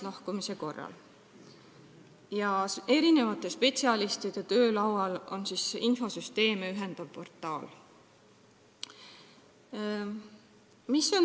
Erinevate spetsialistide töölaual peaks olema infosüsteeme ühendav portaal.